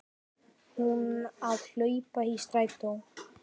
Hún að hlaupa í strætó.